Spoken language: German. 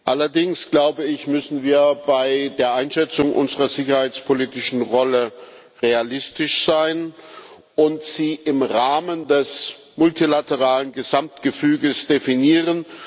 Allerdings, glaube ich, müssen wir bei der Einschätzung unserer sicherheitspolitischen Rolle realistisch sein und sie im Rahmen des multilateralen Gesamtgefüges definieren.